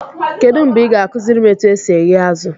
Kedụ mgbe ị ga-akụziri m etu e si eghe azụ?